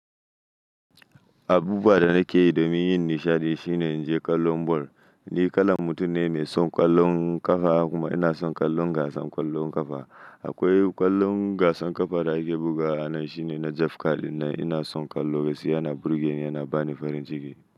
Abuwa da nake yi domin yin nishaɗi shine in je ƙwallon ball. Ni kalan mutum ne mai son ƙwallon ƙafa kuma ina son ƙwallon gasa ƙwallon ƙafa. Akwai ƙwallon gasan ƙafa da ake bugawa ranan shine na Jeff Carl dinnan ina son ƙwallon gaskiya yana burge ni yana bani farin ciki.